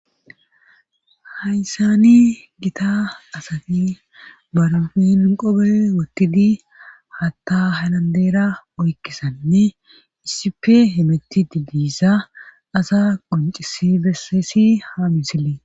Hayssani gita asati barafen qobe wotidi haatta halandeera oykkisanne issife hemetti digdisa asa quncisi besseesi ha misilee.